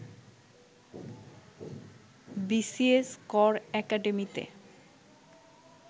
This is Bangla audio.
বিসিএস কর একাডেমিতে